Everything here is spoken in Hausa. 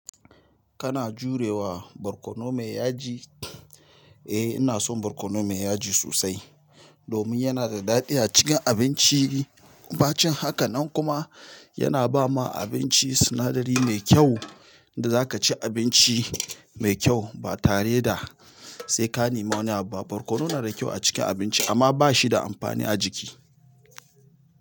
Kana jurewa barkono mai yaji? Eh ina son barkono mai yaji sosai domin yana da daɗi a cikin abinci. Ba cin haka nan kuma yana ba ma abinci sinadari mai kyau da za ka ci abinci mai kyau ba tare da sai ka nema wani abba. Barkono na da kyau a cikin abinci amma ba shi da amfani a jiki.